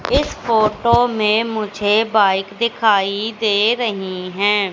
इस फोटो में मुझे बाइक दिखाई दे रही है।